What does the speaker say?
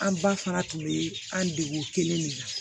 An ba fana tun bɛ an degu kelen de la